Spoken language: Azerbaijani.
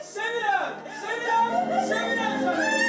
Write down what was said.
Mən sevirəm, sevirəm, sevirəm səni.